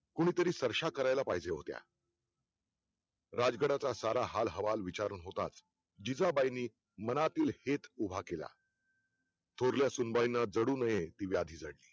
कोणीतरी सरशा करायला पाहिजे होत्या राज गडाचा सारा हाल हवाल विचार होताच जिजाबाईंनी मनातील हेत उभा केला थोरल्या सुनबाई ने रडू नये ती व्याधी झाली